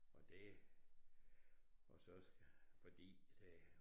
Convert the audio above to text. Og det og så fordi det